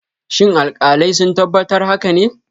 Shin alkalai sun tabbatar haka ne?